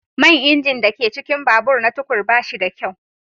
Man injin da ke cikin babur na tukur ba shi da kyau.